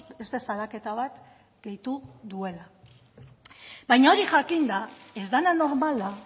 beste salaketa bat gehitu duela baina hori jakinda ez dena normala